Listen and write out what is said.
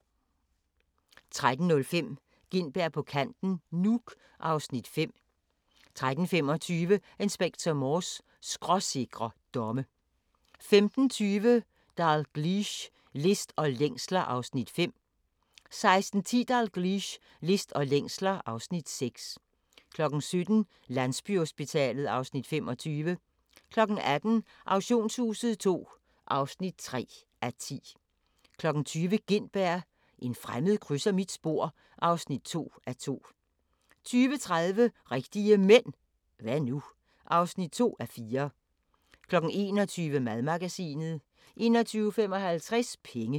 13:05: Gintberg på kanten - Nuuk (Afs. 5) 13:35: Inspector Morse: Skråsikre domme 15:20: Dalgliesh: List og længsler (Afs. 5) 16:10: Dalgliesh: List og længsler (Afs. 6) 17:00: Landsbyhospitalet (Afs. 25) 18:00: Auktionshuset II (3:10) 20:00: Gintberg – en fremmed krydser mit spor (2:2) 20:30: Rigtige Mænd – hva' nu? (2:4) 21:00: Madmagasinet 21:55: Penge